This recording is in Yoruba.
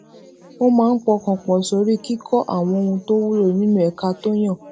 ó máa ń pọkàn pò sórí kíkó àwọn ohun tó wúlò nínú ẹka tó yàn